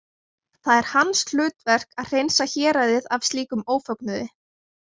Það er hans hlutverk að hreinsa héraðið af slíkum ófögnuði.